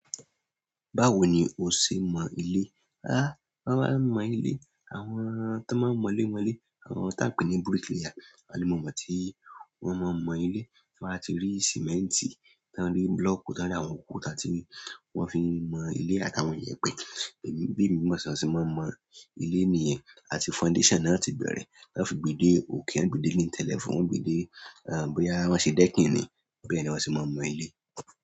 Báwo ni o ṣe ń mọ ilé? Aá, wọ́n má ń mọ ilé. Àwọn tó má ń mọ lé, mọ lẹ́, àwọn tí à ń pè ní bricklayer, àwọn ni mo mọ̀ tí wọ́n má ń mọ ilé. Tí wọ́n bá ti rí símẹ́ǹtì, tán rí búlọ̀kù, tán rí àwọn òkúta tí wọ́n fi ń mọ ilé àtàwọn iyẹ̀pẹ̀. Èmi, bí èmi mọ̀ tán ṣe ma ń mọ ilé nìyẹn. Àti foundation naá ti bẹ̀rẹ̀, naá fi gbe dé òkè, wọn ó gbe dé lintel level, wọn ó gbe dé, àn, bóyá wọ́n ṣe decking ni, bẹ́ẹ̀ ni wọ́n se máa ń mọ ilé.